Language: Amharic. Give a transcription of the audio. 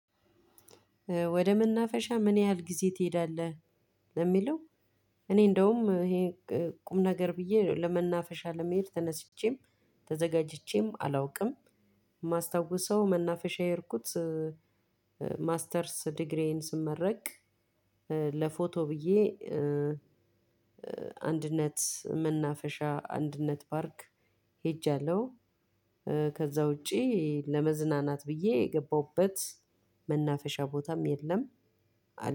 ወደ መናፈሻ ምን ያህል ጊዜ ትሄዳለህ? ለሚለው እኔ እንደውም ይሄ ቁም ነገር ብዬ ለመናፈሻ ለመሄድ ተነስቼም ተዘጋጅቼም አላውቅም የማስታውሰው መናፈሻ የሄድኩት ማስተርስ ዲግሪዬን ስመረቅ ለፎቶ ብዬ አንድነት መናፈሻ አንድነት ፓርክ ሄጃለሁ። ከዛ ውጪ ለመዝናናት ብዬ የገባሁበት መናፈሻ ቦታም የለም።